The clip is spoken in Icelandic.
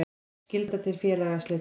Skylda til félagsslita.